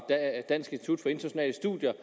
dansk institut for internationale studier